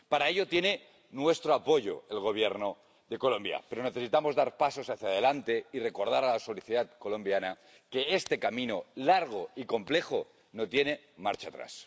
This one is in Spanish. Para ello tiene nuestro apoyo el Gobierno de Colombia, pero necesitamos dar pasos hacia adelante y recordar a la sociedad colombiana que este camino, largo y complejo, no tiene marcha atrás.